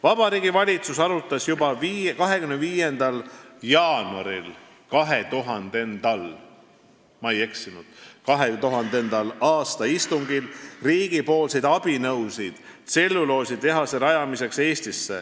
Vabariigi Valitsus arutas juba 25. jaanuari 2000. aasta istungil riigi abinõusid Eestisse tselluloositehase rajamiseks.